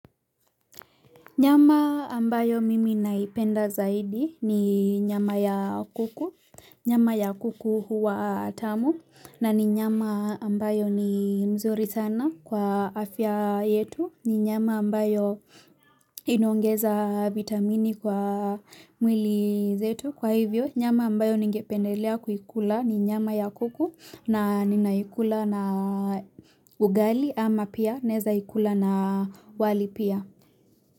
Nyama ambayo mimi naipenda zaidi ni nyama ya kuku, nyama ya kuku huwa tamu, na ni nyama ambayo ni mzuri sana kwa afya yetu, ni nyama ambayo inaongeza vitamini kwa mwili zetu, kwa hivyo nyama ambayo ningependelea kuikula ni nyama ya kuku na ninaikula na ugali ama pia naezaikula na wali pia.